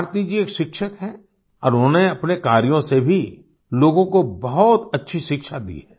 भारती जी एक शिक्षक हैं और उन्होंने अपने कार्यों से भी लोगों को बहुत अच्छी शिक्षा दी है